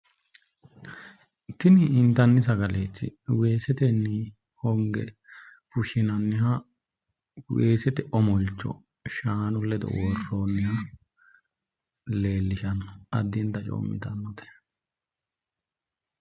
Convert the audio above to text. Tini intanni sagaleeti weesetenni honge fushinnanniha weesete omolcho shaanu ledo worroonniha leellishshanno addinta coomittanno.